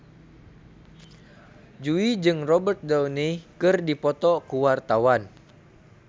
Jui jeung Robert Downey keur dipoto ku wartawan